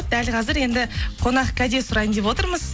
дәл қазір енді қонақкәде сұрайын деп отырмыз